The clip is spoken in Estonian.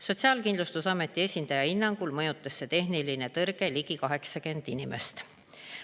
Sotsiaalkindlustusameti esindaja hinnangul mõjutas see tehniline tõrge ligi 80 inimest.